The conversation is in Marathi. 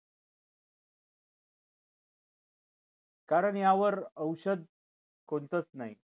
कारण यावर औषध कोणतच नाही